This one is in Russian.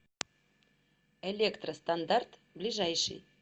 электростандарт ближайший